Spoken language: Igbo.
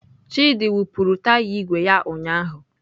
Chidị wụpụrụ taya igwe ya ụnyahụ.